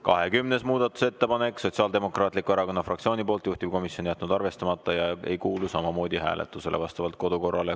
20. muudatusettepanek, Sotsiaaldemokraatliku Erakonna fraktsiooni poolt, juhtivkomisjon jätnud arvestamata ja see ei kuulu samamoodi hääletusele vastavalt kodukorrale.